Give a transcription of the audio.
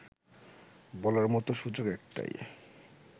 বলার মতো সুযোগ একটাই